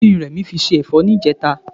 Kí ni Rẹ̀mí fi se ẹ̀fọ́ níjẹta?